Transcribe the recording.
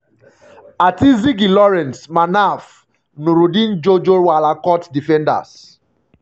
ati zigi lawrence manaf nurudeen jojo wollacot defenders-